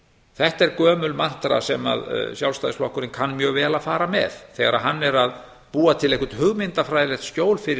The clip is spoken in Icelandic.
þetta er gömul mantra sem að sjálfstæðisflokkurinn kann mjög vel að fara með þegar hann er að búa til einhvern hugmyndafræðilegt skjól fyrir